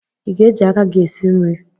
Ị ga-eji aka gị esi nri?